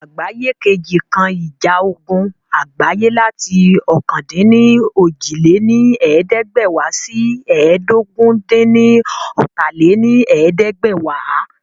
Ogun Àgbáyé II kan ìjà ogun àgbáyé láti ọ̀kan-dín-ní-ojì lé ní ẹ̀ẹ́dẹ́gbẹ́wá sí ẹ́ẹdógún-dín-ní-ọ́ta lé ní ẹ̀ẹ́dẹ́gbẹ́wá